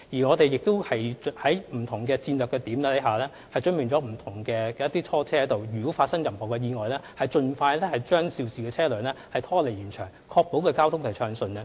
我們更已在不同的戰略點準備拖車，以便在發生意外時盡快將肇事車輛拖離現場，確保交通暢順。